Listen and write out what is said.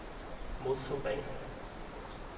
modforvrænger